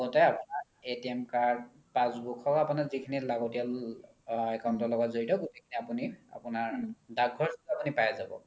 লগতে আপোনাৰ card passbook হ'ক আপোনাৰ যিখিনি লাগতিয়াল account ৰ লগত জৰিত গোতেই খিনি আপোনাৰ দাক ঘৰ যোনতোত আপোনি পাই যাব